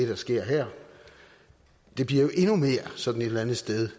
der sker her det bliver jo sådan et eller andet sted